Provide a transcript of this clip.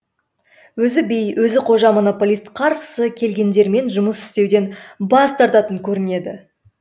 өзі би өзі қожа монополист қарсы келгендермен жұмыс істеуден бас тартатын көрінеді